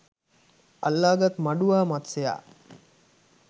අල්ලා ගත් මඩුවා මත්ස්‍යයා